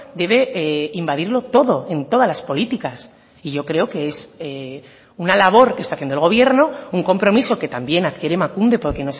debe invadirlo todo en todas las políticas y yo creo que es una labor que está haciendo el gobierno un compromiso que también adquiere emakunde porque